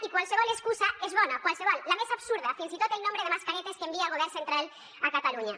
i qualsevol excusa és bona qualsevol la més absurda fins i tot el nombre de mascaretes que envia el govern central a catalunya